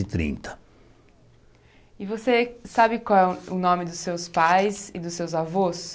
E trinta E você sabe qual é o o nome dos seus pais e dos seus avós?